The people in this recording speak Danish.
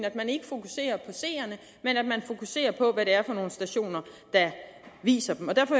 at man ikke fokuserer seerne men at man fokuserer på hvad det er for nogle stationer der viser dem og derfor